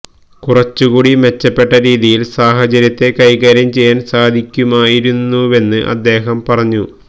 കുറച്ചുകൂടി മെച്ചപ്പെട്ട രീതിയിൽ സാഹചര്യത്തെ കൈകാര്യം ചെയ്യാൻ സാധിക്കുമായിരുന്നുവെന്ന് അദ്ദേഹം പറഞ്ഞു